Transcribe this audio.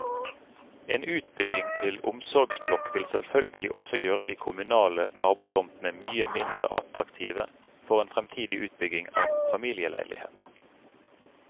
En utbygging til omsorgsblokk vil selvfølgelig også gjøre de kommunale nabotomtene mye mindre attraktive for en fremtidig utbygging av familieleiligheter.